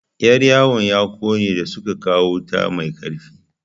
Yar yawon ya ƙone da suka kawo wuta mai ƙarfi.